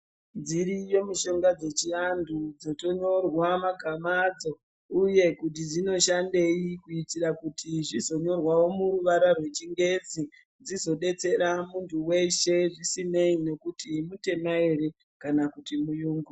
Dziriyo mishonga dzechianthu dzotonyorwa magama adzo uye kuti dzinoshandei kuitira kuti zvizonyorwawo muruvara rwechingezi dzizodetsera munthu weshe zvisinei nekuti mutema ere kana kuti muyungu.